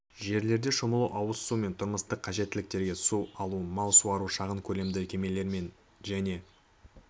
жерлерде шомылу ауыз су және тұрмыстық қажеттіліктерге су алу мал суару шағын көлемді кемелермен және